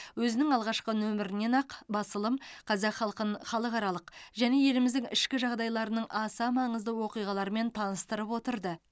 өзінің алғашқы нөмірінен ақ басылым қазақ халқын халықаралық және еліміздің ішкі жағдайларының аса маңызды оқиғаларымен таныстырып отырды